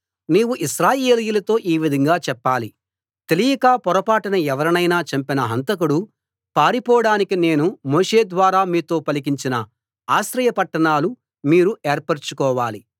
నీవు ఇశ్రాయేలీయులతో ఈ విధంగా చెప్పాలి తెలియక పొరపాటున ఎవరినైనా చంపిన హంతకుడు పారిపోడానికి నేను మోషే ద్వారా మీతో పలికించిన ఆశ్రయ పట్టణాలు మీరు ఏర్పరచుకోవాలి